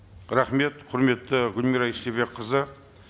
рахмет құрметті гүлмира истайбекқызы